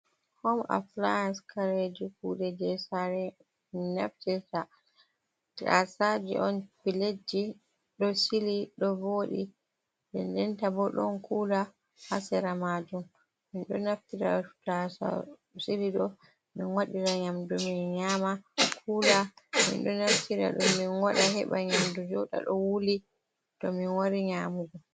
Hom apilayans, kareji kuɗee jei saare min naftirta tasaaje on piletji ɗo sili ɗo vooɗi de ndenta bo ɗon kula ha sera majuum, Min ɗo naftira tasau sili ɗo min wadira nyamdu, min nyama. Kula min ɗo naftira do min waɗa heɓa nyamdu jooɗa ɗo wuli, to min wari nyamugo.